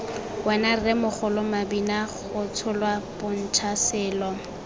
wena rremogolo mabinagotsholwa bontsha selo